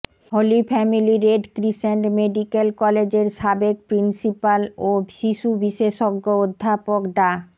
হলি Family Red Crescent Medical কলেজের সাবেক principal ও শিশুবিশেষজ্ঞ অধ্যাপক ডা